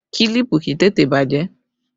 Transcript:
Kílípù kì í tètè bàjẹ́